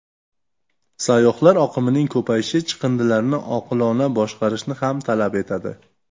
Sayyohlar oqimining ko‘payishi chiqindilarni oqilona boshqarishni ham talab etadi.